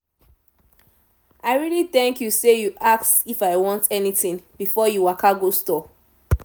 i really thank you sey you ask if i want anything before you waka go store.